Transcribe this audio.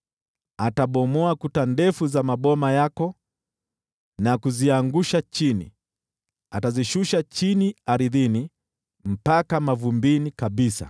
Atabomoa kuta ndefu za maboma yako na kuziangusha chini, atazishusha chini ardhini, mpaka mavumbini kabisa.